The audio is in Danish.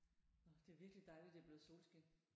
Åh det er virkelig dejligt det er blevet solskin